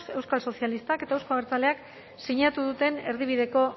euskal sozialistak eta euzko abertzaleak sinatu duten erdibideko